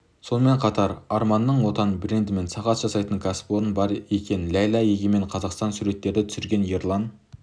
сонымен қатар арманның отан брендімен сағат жасайтын кәсіпорны бар екен ләйла егемен қазақстан суреттерді түсірген ерлан